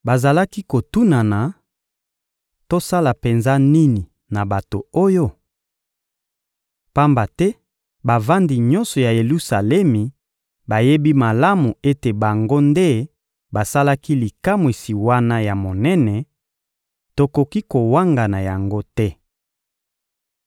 Bazalaki kotunana: — Tosala penza nini na bato oyo? Pamba te bavandi nyonso ya Yelusalemi bayebi malamu ete bango nde basalaki likamwisi wana ya monene; tokoki kowangana yango te.